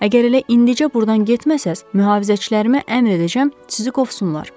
Əgər elə indicə burdan getməsəniz, mühafizəçilərimə əmr edəcəm, sizi qovsunlar.